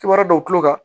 Kibaruya dɔw tulo kan